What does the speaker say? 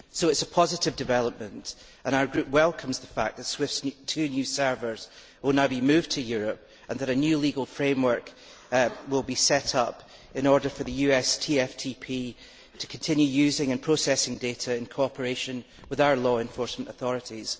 So it is a positive development, and our group welcomes the fact that SWIFT's two new servers will now be moved to Europe and that a new legal framework will be set up in order for the US TFTP to continue using and processing data in cooperation with our law enforcement authorities.